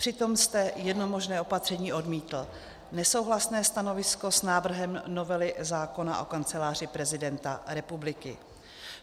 Přitom jste jedno možné opatření odmítl, nesouhlasné stanovisko s návrhem novely zákona o Kanceláři prezidenta republiky.